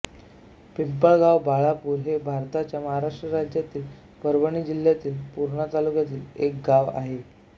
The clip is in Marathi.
पिंपळगाव बाळापुर हे भारताच्या महाराष्ट्र राज्यातील परभणी जिल्ह्यातील पूर्णा तालुक्यातील एक गाव आहे